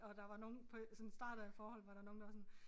Og der var nogen på sådan starten af forholdet var der nogen der var sådan